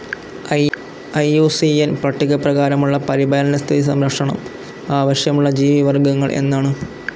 I U C N പട്ടികപ്രകാരമുള്ള പരിപാലന സ്ഥിതി സംരക്ഷണം ആവശ്യമുള്ള ജീവിവർഗ്ഗങ്ങൾ എന്നാണ്.